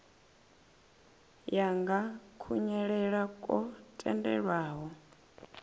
ya nga kunwalele kwo tendelwaho